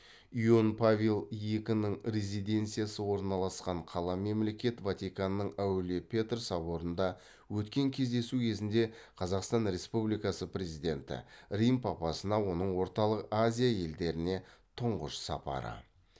иоанн павел екінің резиденциясы орналасқан қала мемлекет ватиканның әулие петр соборында өткен кездесу кезінде қазақстан республикасы президенті рим папасына оның орталық азия елдеріне тұңғыш сапары